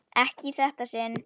Ekki í þetta sinn.